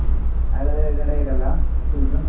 ಹಾಗಾದ್ರೆ ಗಡಾಯಿಕಲ್ಲಾ choose ?